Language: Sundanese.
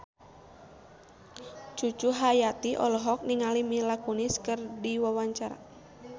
Cucu Cahyati olohok ningali Mila Kunis keur diwawancara